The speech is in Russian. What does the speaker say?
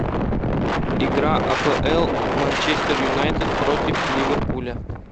игра апл манчестер юнайтед против ливерпуля